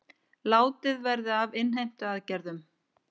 Látið verði af innheimtuaðgerðum